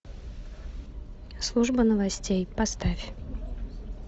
служба новостей поставь